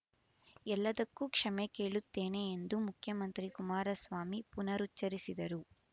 ಎಲ್ಲದ್ದಕ್ಕೂ ಕ್ಷಮೆ ಕೇಳುತ್ತೇನೆ ಎಂದು ಮುಖ್ಯಮಂತ್ರಿ ಕುಮಾರಸ್ವಾಮಿ ಪುನರುಚ್ಛರಿಸಿದರು